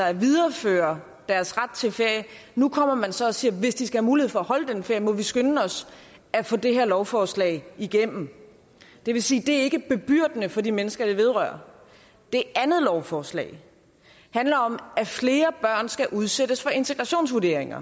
at videreføre deres ret til ferie nu kommer man så og siger at hvis de skal have mulighed for at holde den ferie må vi skynde os at få det her lovforslag igennem det vil sige det ikke er bebyrdende for de mennesker det vedrører det andet lovforslag handler om at flere børn skal udsættes for integrationsvurdering